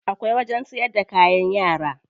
Akwai wajen siyar da kayan yara.